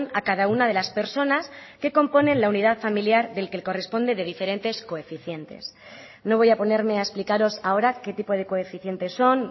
a cada una de las personas que componen la unidad familiar del que corresponde de diferentes coeficientes no voy a ponerme a explicaros ahora qué tipo de coeficientes son